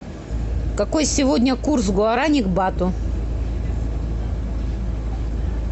какой сегодня курс гуарани к бату